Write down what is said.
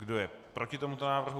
Kdo je proti tomuto návrhu?